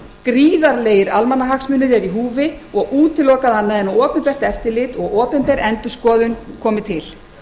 gríðarlegir almannahagsmunir eru í húfi og útilokað annað en að opinbert eftirlit og opinber endurskoðun komi til